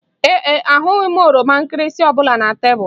Ee e, ahụghị m oroma nkịrịsị ọ bụla na tebụl